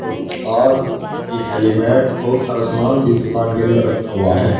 तो कुछ तार एक हेलिमेट बहुत सारा सामान इस दुकान के अंदर रखा हुआ है।